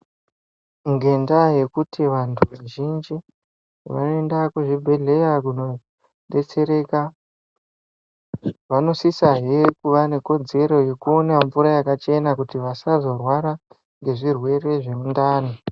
Ngendaa yekuti vantu vazhinji vaiende kuzvibhedhleya kunobetsereka. Vanosisahe kuva nekodzero yekuona mvura yakachena kuti vasazvorwara ngezvirwere zvemundani.